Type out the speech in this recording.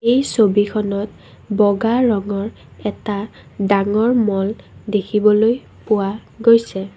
এই ছবিখনত বগা ৰঙৰ এটা ডাঙৰ ম'ল দেখিবলৈ পোৱা গৈছে।